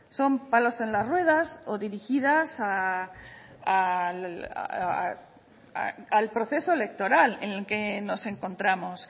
son palos en las ruedas o dirigidas al proceso electoral en el que nos encontramos